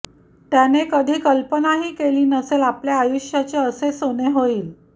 त्याने कधी कल्पनाही केली नसेल आपल्या आयुष्याचे असे सोने होईल